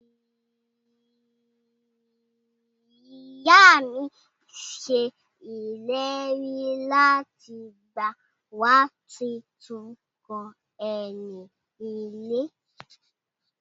Iya mi se ileri lati gba wa titun kan eni ile.